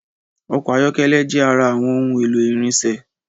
Ọkọ̀ ayọ́kẹ́lẹ́ jẹ ara awọn ohun èlò ìrìnsẹ̀